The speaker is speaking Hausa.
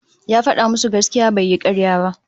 Ya fada musu gaskiya bai yi karya